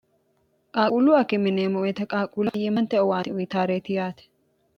qaaquullu akki yineemo woyiite qaaquuleho faiyyimmate owaate uyitaareeti yaate